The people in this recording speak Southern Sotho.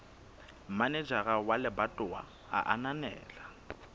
manejara wa lebatowa a ananela